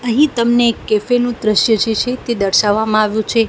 અહીં તમને એક કેફે નુ દ્રશ્ય જે છે તે દર્શાવામાં આવ્યુ છે.